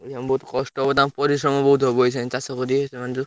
ଏଇଖିଣା ବହୁତ କଷ୍ଟ ହବ ତାକଣୁ ପରିଶ୍ରମ ବହୁତ ହବ ଏଇଛା ଚାଷ କରିବେ ସେମାନେ ଯୋଉ।